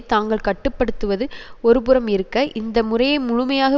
தாங்கள் கட்டு படுத்துவது ஒரு புறம் இருக்க இந்த முறையை முழுமையாக